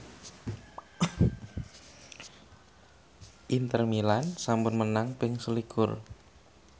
Inter Milan sampun menang ping selikur